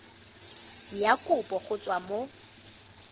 ya kopo go tswa mo